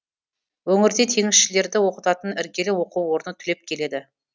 өңірде теңізшілерді оқытатын іргелі оқу орны түлеп келеді